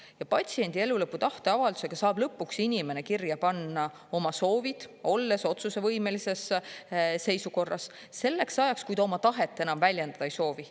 Ja patsiendi elulõpu tahteavaldusega saab lõpuks inimene kirja panna oma soovid, olles otsusevõimelises seisukorras, selleks ajaks, kui ta oma tahet väljendada ei soovi.